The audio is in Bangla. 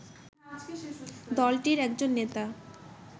দলটির একজন নেতা